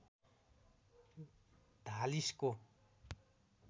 धालिसको